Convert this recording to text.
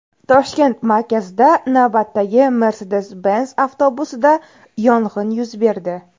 Toshkent markazida navbatdagi Mercedes-Benz avtobusida yong‘in yuz berdi.